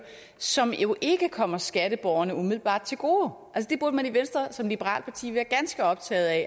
som jo ikke kommer skatteborgerne umiddelbart til gode det burde man i venstre som liberalt parti være ganske optaget af